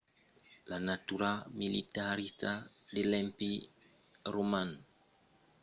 la natura militarista de l'empèri roman ajudèt al desvolopament d'avançadas medicalas